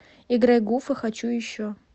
играй гуфа хочу еще